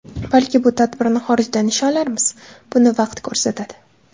Balki bu tadbirni xorijda nishonlarmiz... Buni vaqt ko‘rsatadi.